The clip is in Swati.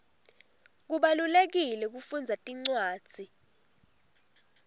kubalulekile kufundza tincwadzi